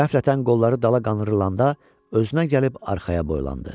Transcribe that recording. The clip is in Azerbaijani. Qəflətən qolları dala qandırılında özünə gəlib arxaya boylandı.